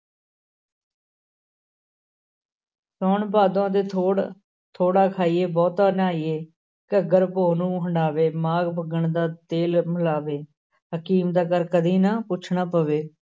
ਸਾਉਣ ਭਾਦੋਂ ਦੇ ਥੋੜ੍ਹ ਥੋੜ੍ਹਾ ਖਾਈਏ ਬਹੁਤਾ ਨਾਈਏ, ਘੱਗਰ ਪੋਹ ਨੂੰ ਹੰਡਾਵੇ ਮਾਘ ਫੱਗਣ ਦਾ ਤੇਲ ਮਲਾਵੇ, ਹਕੀਮ ਦਾ ਘਰ ਕਦੇ ਨਾ ਪੁੱਛਣਾ ਪਵੇ।